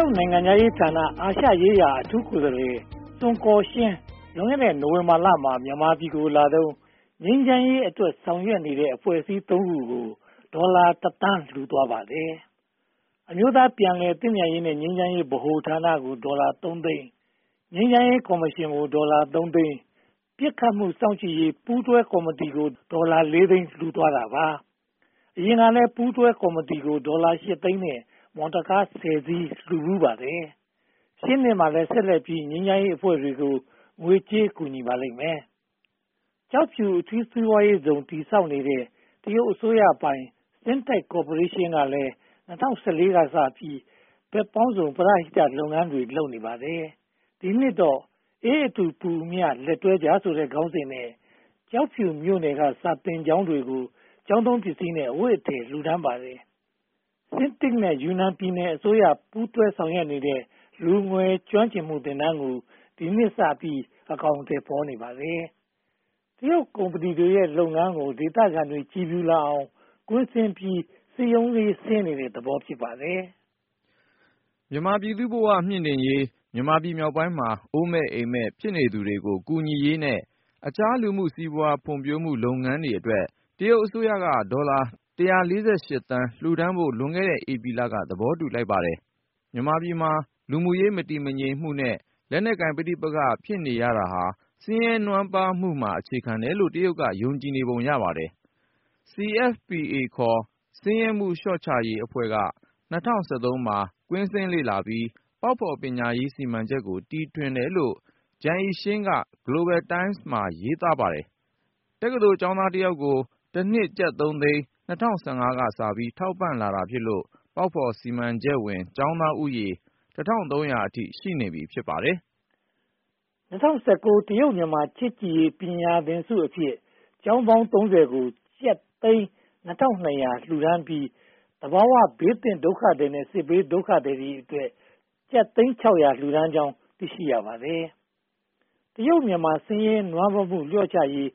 ုတ်နိုင်ငံခြားရေးဌာန၊ အာရှရေးရာအထူးကိုယ်စားလှယ် စွန်ကော်ရှင်း လွန်ခဲ့တဲ့ နိုဝင်ဘာလမှာ မြန်မာပြည်ကိုလာတုန်း ငြိမ်းချမ်းရေးအတွက် ဆောင်ရွက်နေတဲ့ အဖွဲ့အစည်း (၃) ဖွဲ့ကို ဒေါ်လာ (၁) သန်း လှူဒါန်းသွားပါတယ်။ အမျိုးသားပြန်လည်သင့်မြတ်ရေးနဲ့ ငြိမ်းချမ်းရေးဗဟိုဌာနကို ဒေါ်လာ (၃) သိန်း၊ ငြိမ်းချမ်းရေးကော်မရှင်ကို ဒေါ်လာ (၃) သိန်း၊ ပစ်ခတ်မှုစောင့်ကြည့်ရေး ပူးတွဲကော်မတီကို ဒေါ်လာ (၄) သိန်း လှူဒါန်းသွားပါတယ်။ အရင်ကလည်း ပူးတွဲကော်မတီကို ဒေါ်လာ (၈) သိန်းနဲ့ မော်တော်ကား (၁၀) စီး လှူဖူးပါတယ်။ ရှေ့နှစ်မှာလည်း ဆက်လက်ပြီး ငြိမ်းချမ်းရေးအဖွဲ့တွေကို ငွေကြေးကူညီပါလိမ့်မယ်။ ကျောက်ဖြူအထူးစီးပွားရေးဇုန် တည်ဆောက်နေတဲ့ တရုတ်အစိုးရပိုင် CITIC ကော်ပိုရေးရှင်းကလည်း (၂၀၁၄) ကစပြီး ဘက်ပေါင်းစုံ ပရဟိတလုပ်ငန်းတွေ လုပ်နေပါတယ်။ ဒီနှစ်တော့ 'အေးအတူ ပူအမျှ လက်တွဲကြ' ဆိုတဲ့ ခေါင်းစဉ်နဲ့ ကျောက်ဖြူမြို့နယ် စာသင်ကျောင်းတွေကို ကျောင်းသုံးပစ္စည်းနဲ့ အဝတ်အထည်တွေ လှူဒါန်းပါတယ်။ CITIC နဲ့ ယူနန်ပြည်နယ်အစိုးရ ပူးတွဲဆောင်ရွက်နေတဲ့ လူငယ်ကျွမ်းကျင်မှုသင်တန်းကို ဒီနှစ်ကစပြီး အကောင်အထည်ဖော်နေပါတယ်။ တရုတ်ကုမ္ပဏီရဲ့ လုပ်ငန်းတွေကို ဒေသခံတွေ ကြည်ဖြူလာအောင် ကွင်းဆင်းပြီး စည်းရုံးတဲ့သဘော ဖြစ်ပါတယ်။ မြန်မာပြည်သူ့ဘဝမြှင်တင့်ရေး၊ မြန်မာပြည်မြောက်ပိုင်းမှာ အိုးမဲ့အိမ်မဲံ ဖြစ်နေသူတွေကို ကူညီရေးနဲ့ အခြားလူမှုစီးပွားရေး ဖွံ့ဖြိုးရေးလုပ်ငန်းတွေအတွက် တရုတ်အစိုးရက ဒေါ်လာ (၁၄၈) သန်း လှူဒါန်းဖို့ လွန်ခဲ့တဲ့ ဧပြီလက သဘောတူလိုက်ပါတယ်။ မြန်မာပြည်မှာ လူမှုရေးမတည်မငြိမ်နဲ့ လက်နက်ကိုင်ပဋိပက္ခ ဖြစ်ရတာဟာ ဆင်းရဲနွမ်းပါးမှုမှာ အခြေခံတယ်လို့ တရုတ်က ယုံကြည်ပုံရပါတယ်။ CFPA ခေါ် ဆင်းရဲမှုလျော့ချရေးအဖွဲ့ (China Foundation for Poverty Alleviation) က (၂၀၁၃) မှာ ကွင်းဆင်းလေ့လာပြီး ပေါက်ဖော်ပညာရေး စီမံချက်ကို တီထွင်တယ်လို့ ဂျန်အိရှင်း (Zhang Yiqian) က Global Times မှာ ရေးသားထားပါတယ်။ တက္ကသိုလ်ကျောင်းသားတယောက်ကို တနှစ်ကျပ်သုံးသိန်း ၂၀၁၅ ကစပြီး ထောက်ပံ့လာတာဖြစ်လို့ ပေါက်ဖော်စီမံချက်ဝင် ကျောင်းသားဦးရေ (၁၃၀၀) အထိ ရှိနေပြီ ဖြစ်ပါတယ်။ (၂၀၁၉) တရုတ်-မြန်မာ ချစ်ကြည်ရေးပညာသင်ဆုအဖြစ် ကျောင်းပေါင်း (၃၀) ကို ကျပ်သိန်း (၂၂၀၀) လှူဒါန်းပြီး သဘာဝဘေးသင့်ဒုက္ခသည်နဲ့ စစ်ဘေးဒုက္ခသည်အတွက် ကျပ်သိန်း (၆၀၀) လှူဒါန်းကြောင်း သိရှိရပါတယ်။ တရုတ်-မြန်မာ ဆင်းရဲနွမ်းပါးမှု လျှော့ချရေး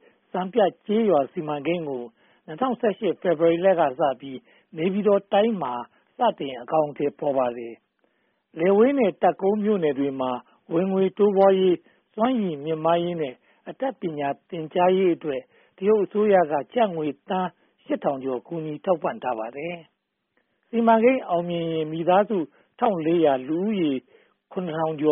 စီမံကိန်းကို ၂၀၁၈ ဖေဖေါ်ဝါရီလကစပြီး နေပြည်တော်တိုင်းမှာ စတင်အကောင်အထည်ဖော်ပါတယ်။ လယ်ဝေးနဲ့ တပ်ကုန်းမြို့နယ်တွေမှာ ဝင်ငွေတိုးပွားရေး၊ စွမ်းရည်မြှင့်မားရေးနဲ့ အတတ်ပညာသင်ကြားရေးအတွက် တရုတ်အစိုးရက ကျပ်ငွေသန်း (၈၀၀၀) ကျော် ကူညီထောက်ပံ့ထားပါတယ်။ စီမံကိန်းအောင်မြင်ရင် မိသားစု (၁၄၀၀) လူဦးရေ (၇၀၀၀) ကျော်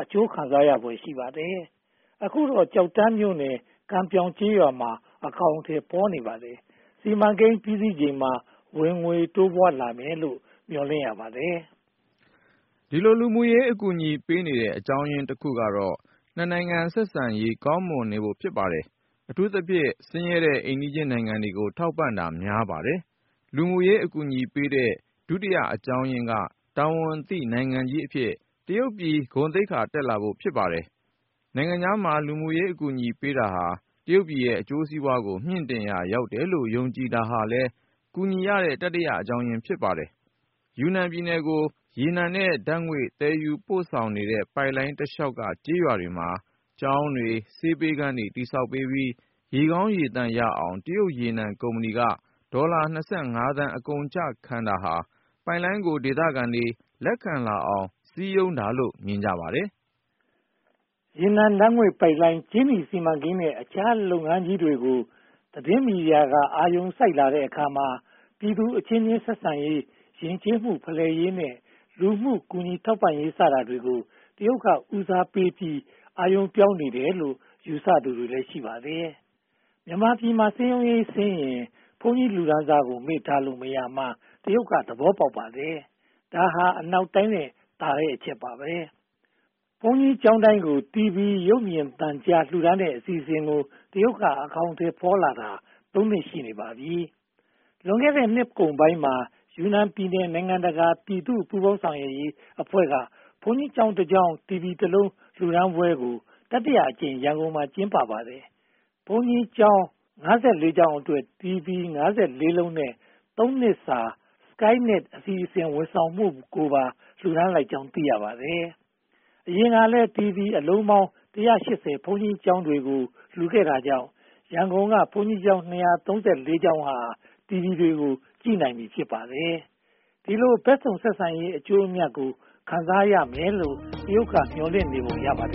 အကျိုးခံစားရဖွယ် ရှိပါတယ်။ အခုတော့ ကျောက်တန်းမြို့နယ် ကန်ပြောက်ကျေးရွာမှာ အကောင်အထည် ဖော်နေပါတယ်။ စီမံကိန်းပြီးစီးချိန်မှာ ဝင်ငွေတိုးပွားလာမယ်လို့ မျှော်လင့်ရပါတယ်။ ဒီလို လူမှုရေးအကူအညီပေးနေတဲ့ အကြောင်းရင်းတခုကတော့ (၂) နိုင်ငံ ဆက်ဆံရေး ကောင်းမွန်နေဖို့ ဖြစ်ပါတယ်။ အထူးသဖြင့် ဆင်းရဲတဲ့ အိမ်နီးနားချင်းနိုင်ငံတွေကို ထောက်ပံ့တာများပါတယ်။ လူမှုရေးအကူအညီပေးတဲ့ ဒုတိယအကြောင်းရင်းက တာဝန်သိနိုင်ငံကြီးအဖြစ် တရုတ်ပြည် သိက္ခာတက်လာဖို့ ဖြစ်ပါတယ်။ နိုင်ငံခြားမှာ လူမှုရေးအကူအညီပေးတာဟာ တရုတ်ပြည်ရဲ့ အကျိုးစီးပွားကို မြှင့်တင်ရာ ရောက်တယ်လို့ ယုံကြည်တာဟာလည်း ကူညီရတဲ့ တတိယအကြောင်းရင်း ဖြစ်ပါတယ်။ ယူနန်ပြည်နယ်ကို ရေနံနဲ့ဓါတ်ငွေ့ သယ်ယူပို့ဆောင်နေတဲ့ ပိုက်လိုင်းတလျှောက်က ကျေးရွာတွေမှာ ကျောင်းတွေ၊ ဆေးပေးခန်းတွေ တည်ဆောက်ပြီး ရေကောင်းရေသန့်ရအောင် တရုတ်ရေနံကုမ္ပဏီက ဒေါ်လာ (၂၅) သန်း အကုန်အကျခံတာဟာ ပိုက်လိုင်းကို ဒေသခံတွေ လက်ခံလာအောင် စည်းရုံးတာလို့ မြင်ကြပါတယ်။ ရေနံဓါတ်ငွေ့ပိုက်လိုင်း၊ ကြေးနီစီမံကိန်းနဲ့ အခြားလုပ်ငန်းကြီးတွေကို သတင်းမီဒီယာတွေက အာရုံစိုက်လာတဲ့အခါမှာ ပြည်သူအချင်းချင်းဆက်ဆံရေး၊ ယဉ်ကျေးမှုဖလှယ်ရေးနဲ့ လူမှုကူညီထောက်ပံ့ရေး စတာတွေကို တရုတ်က ဦးစားပေးပြီး အာရုံပြောင်းနေတယ်လို့ ယူဆသူတွေလည်း ရှိပါတယ်။ မြန်မာပြည်မှာ စည်းရုံးရေးဆင်းရင် ဘုန်းကြီးလူတန်းစာကို မေ့ထားလို့မရကြောင်း တရုတ်သဘောပေါက်ပါတယ်။ ဒါဟာ အနောက်တိုင်းထက်သာတဲ့ အချက်ပါ။ ဘုန်းကြီးကျောင်းတိုင်းကို တီဗွီရုပ်မြင်သံကြား လှူဒါန်းတဲ့ အစီအစဉ်ကို တရုတ်က အကောင်အထည်ဖော်လာတာ သုံးနှစ် ရှိနေပါပြီ။ လွန်ခဲ့တဲ့ နှစ်ကုန်ပိုင်းမှာ ယူနန်ပြည်နယ် နိုင်ငံတကာ ပြည်သူ့ပူးပေါင်းဆောင်ရွက်ရေးအဖွဲ့က ဘုန်းကြီးကျောင်း (၁) ကျောင်း တီဗီ (၁) လုံး လှူဒါန်းပွဲကို တတိယအကြိမ် ရန်ကုန်မြို့မှာ ကျင်းပပါတယ်။ ဘုန်းကြီးကျောင်း (၅၄) ကျောင်းအတွက် တီဗွီ (၅၄) လုံးနဲ့ သုံးနှစ်စာ SkyNet အစီအစဉ် ဝန်ဆောင်မှုကိုပါ ပူးတွဲလှူဒါန်းလိုက်ကြောင်း သိရပါတယ်။ အရင်ကလည်း တီဗွီအလုံးပေါင်း (၁၈၀) ဘုန်းကြီးကျောင်းတွေကို လှူခဲ့တာကြောင့် ရန်ကုန်က ဘုန်းကြီးကျောင်း (၂၃၄) ကျောင်းတွေဟာ တီဗွီ ကြည့်နိုင်ပြီး ဖြစ်ပါတယ်။ ဒီလို ဘက်စုံဆက်ဆံရေးရဲ့ အကျိုးအမြတ်ကို ခံစားရလိမ့်မယ်လို့ တရုတ်က မျှော်လင့်နေပုံရပါတ